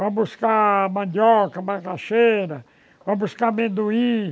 Vai buscar mandioca, macaxeira, vai buscar amendoim.